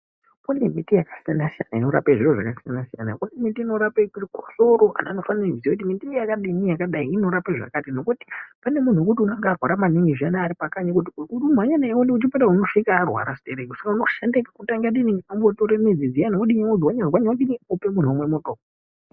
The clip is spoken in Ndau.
Kune miti yakasiyana-siyana inorape zviro zvakasiyana-siyana. Kune miti inorape chikosoro. Anhu anofane kuziya kuti miti yakadini, yakadai inorape zvakati. Nokuti pane munhu wokuti unonga arwara maningi zviyani aripakanyi kuti umhanye naye uende kuchipatara unosvika arwarwa sitereki saka unoshande kuti angadini, unongotore midzi dziyani wodini, wodzwanya-dzwanya odini, ope munhu omwe muto.